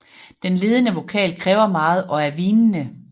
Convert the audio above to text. Den ledende vokal kræver meget og er hvinende